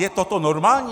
Je toto normální?